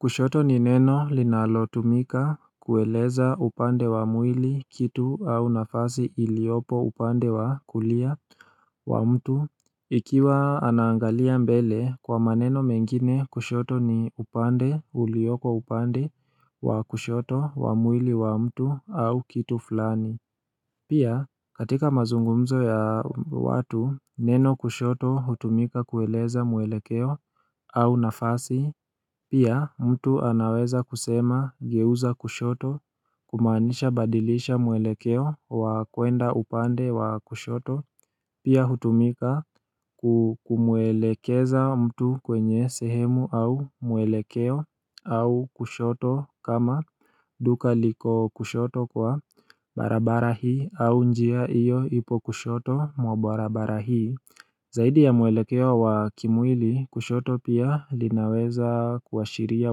Kushoto ni neno linalotumika kueleza upande wa mwili kitu au nafasi iliopo upande wa kulia wa mtu Ikiwa anaangalia mbele kwa maneno mengine kushoto ni upande ulioko upande wa kushoto wa mwili wa mtu au kitu fulani Pia katika mazungumzo ya watu neno kushoto hutumika kueleza mwelekeo au nafasi Pia mtu anaweza kusema geuza kushoto kumanisha badilisha mwelekeo wa kwenda upande wa kushoto Pia hutumika kumwelekeza mtu kwenye sehemu au mwelekeo au kushoto kama duka liko kushoto kwa barabara hii au njia iyo ipo kushoto mwa barabara hii Zaidi ya mwelekeo wa kimwili kushoto pia linaweza kuashiria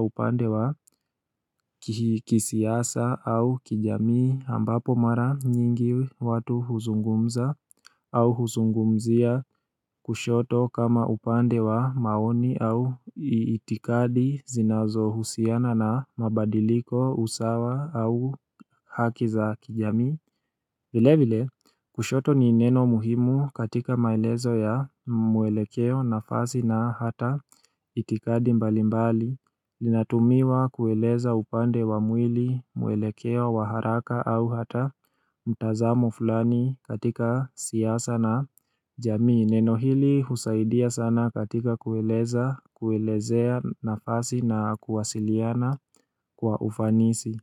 upande wa kisiasa au kijamii ambapo mara nyingi watu huzungumza au huzungumzia kushoto kama upande wa maoni au itikadi zinazohusiana na mabadiliko usawa au haki za kijamii Vilevile kushoto ni neno muhimu katika maelezo ya mwelekeo nafasi na hata itikadi mbalimbali inatumiwa kueleza upande wa mwili mwelekeo wa haraka au hata mtazamo fulani katika siasa na jamii Neno hili husaidia sana katika kuelezea nafasi na kuwasiliana kwa ufanisi.